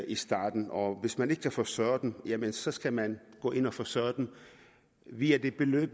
i starten og hvis man ikke kan forsørge dem så skal man gå ind og forsørge dem via det beløb